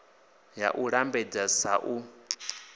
ya u lambedza srsa u